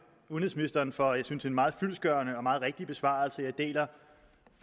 udenrigsministeren for en synes jeg meget fyldestgørende og meget rigtig besvarelse jeg deler